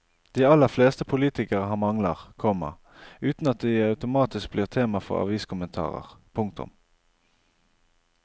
De aller fleste politikere har mangler, komma uten at de automatisk blir tema for aviskommentarer. punktum